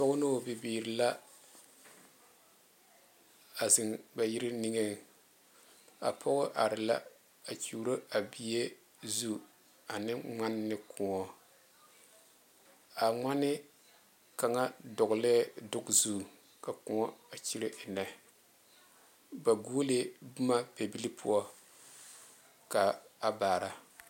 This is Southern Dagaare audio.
Pɔge ne o bibiiri la a zeŋ ba yiri niŋe a pɔge are la a kyɔro a bie zu ane ŋmaane ne kõɔ a ŋmaane kaŋa dogle dogi zu ka kõɔ a kyire enne ba goɔle la boma pɛbilee poɔ ka a baare.